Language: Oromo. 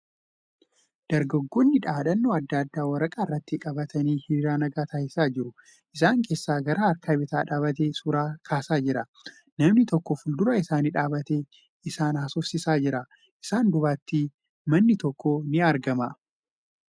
Dargaggoonni dhaadannoo adda addaa waraqaa irratti qabatanii hiriira nagaa taasisaa jiru. Isaan keessa garaa harka bitaa dhaabbatee suura kaasaa jira. Namni tokko fuuldura isaanii dhaabbatee isaan haasofsiisaa jira. Isaan duubatti manni tokko ni argama.